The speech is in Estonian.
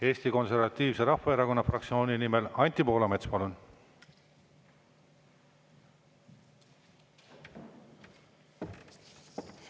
Eesti Konservatiivse Rahvaerakonna fraktsiooni nimel Anti Poolamets, palun!